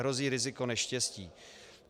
Hrozí riziko neštěstí.